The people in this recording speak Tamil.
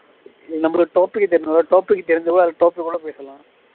நம்மளோட topic என்ன topic தெரிஞ்சவங்க வேற topic கூட பேசலாம்